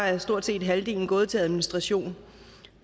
er stort set halvdelen gået til administration